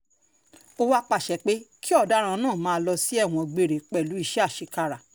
ó wàá pàṣẹ pé um kí ọ̀daràn náà máa lọ um sí ẹ̀wọ̀n gbére pẹ̀lú iṣẹ́ àṣekára